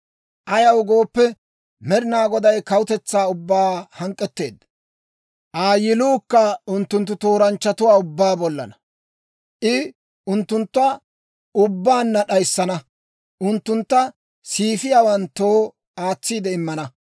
Ayaw gooppe, Med'inaa Goday kawutetsaa ubbaa hank'k'etteedda; Aa yiluukka unttunttu tooranchchatuwaa ubbaa bollana. I unttunttu ubbaanna d'ayissana; unttuntta siifiyaawanttoo aatsiide immana.